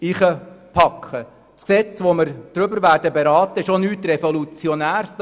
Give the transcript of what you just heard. Das Gesetz, welches wir beraten werden, ist auch nichts Revolutionäres.